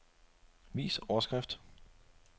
Vis overskrift.